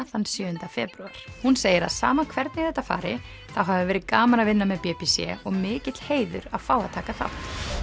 þann sjöunda febrúar hún segir að sama hvernig þetta fari þá hafi verið gaman að vinna með b b c og mikill heiður að fá að taka þátt